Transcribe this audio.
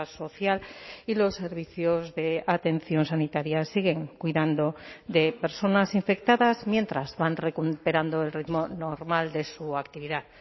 social y los servicios de atención sanitaria siguen cuidando de personas infectadas mientras van recuperando el ritmo normal de su actividad